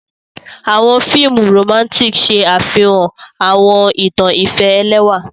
Awọn fiimu Romantic ṣe afihan awọn itan ifẹ ẹlẹwa.